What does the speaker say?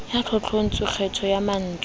ya tlotlontswe kgetho ya mantswe